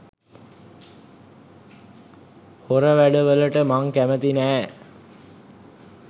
හොර වැඩවලට මං කැමැති නෑ.